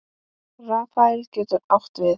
Rafael getur átt við